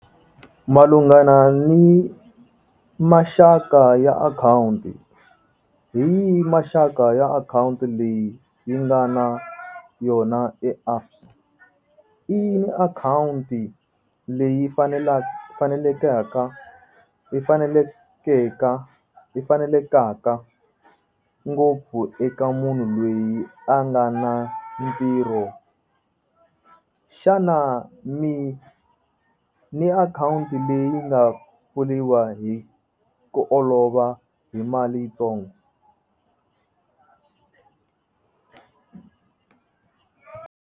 Malungana ni maxaka ya akhawunti hi yi maxaka ya akhawunti leyi yi nga na yona e ABSA i yini akhawunti leyi fanelekaka i fanelekeka i fanelekaka ngopfu eka munhu loyi a nga na ntirho xana mi ni akhawunti leyi nga pfuliwa hi ku olova hi mali yitsongo.